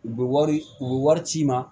U bɛ wari u bɛ wari ci i ma